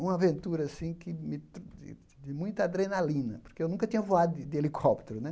Uma aventura, assim, que de de de muita adrenalina, porque eu nunca tinha voado de de helicóptero, né?